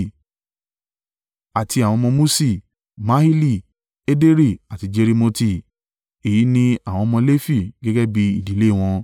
Àti àwọn ọmọ Muṣi: Mahili, Ederi àti Jerimoti. Èyí ni àwọn ọmọ Lefi, gẹ́gẹ́ bí ìdílé wọn.